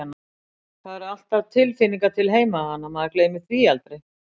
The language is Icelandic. Það eru alltaf tilfinningar til heimahaganna, maður gleymir því aldrei.